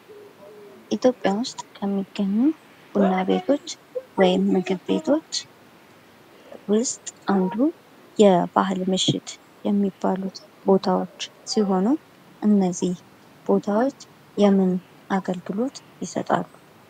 ኢትዮጵያ ውስጥ ከሚገኙ ቡና ቤቶች ወይም ምግብ ቤቶች ውስጥ አንዱ የባህል ምሽት የሚባሉት ቦታዎች ሲሆኑ እነዚህ ቦታዎች የምን አገልግሎት ይሰጣሉ?